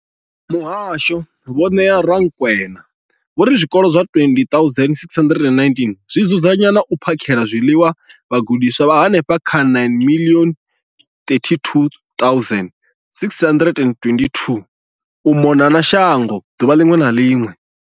Muhasho, Vho Neo Rakwena, vho ri zwikolo zwa 20 619 zwi dzudzanya na u phakhela zwiḽiwa vhagudiswa vha henefha kha 9 032 622 u mona na shango ḓuvha ḽiṅwe na ḽiṅwe.